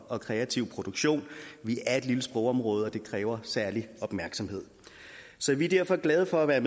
og kreative produktion vi er et lille sprogområde og det kræver særlig opmærksomhed så vi er derfor glade for at være